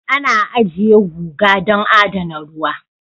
Ana ajiye guga don adana ruwa